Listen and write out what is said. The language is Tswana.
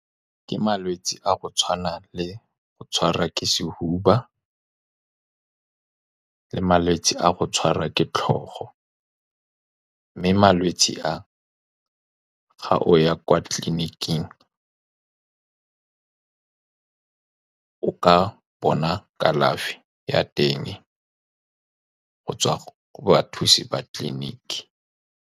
Ke malwetse a go tshwana le go tshwara ke sefuba, le malwetse a go tshwarwa ke tlhogo. Mme malwetse a, fa o ya kwa tleliniking, o ka bona kalafi ya teng go tswa go bathusi ba tleliniki.